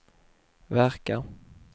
verkar